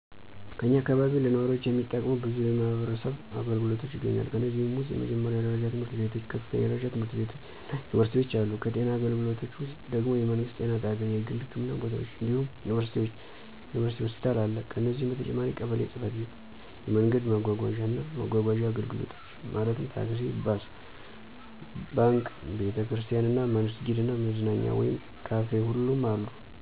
ከኛ አካባቢ ለነዋሪዎች የሚጠቅሙ በዙ የማህበረሰብ አገልግሎቶች ይገኛሉ። ከነዚህም ውስጥ የመጀመሪያ ደረጃ ትምህርት ቤቶች፣ ከፍተኛ ደረጃ ትምህርት ቤቶች እና ዩኒቨርሲቲዎች አሉ። ከጤና አገልግሎቶች ውስጥ ደግም የመንግስት ጤና ጣቢያ፣ የግል ህክምና ቦታዎች እንዲሁም ዩኒቨርሲቲ ሆስፒታል አለ። ከነዚህ በተጨማሪም ቀበሌ ጽ/ቤት፣ የመንገድ ማጓጓዣ እና መጓጓዣ አገልግሎቶች (ታክሲ፣ ባስ)፣ባንክ፣ ቤተ ክርስቲያን እና መስጊድ እና መዝናኛ ወይም ካፊ ሁሉም አሉ።